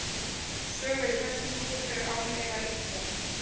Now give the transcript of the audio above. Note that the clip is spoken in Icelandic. Sögur í þessum dúr eru án efa ýktar.